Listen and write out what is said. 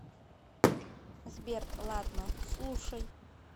сбер ладно слушай